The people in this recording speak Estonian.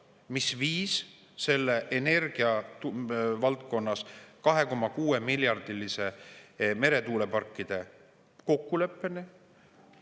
Mis viis energiavaldkonnas selle 2,6-miljardilise meretuuleparkide kokkuleppeni?